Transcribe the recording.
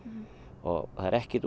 og það er ekkert